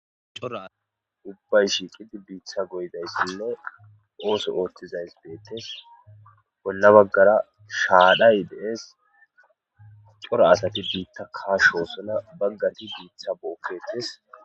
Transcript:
C'ora asay ubbay shiiqidi biita goyizaysinne ootho oothizaysi beetees. Bolla baggara shaaray de'ees. C'ora asati biita kaachosona. Baggati biita bookeetees.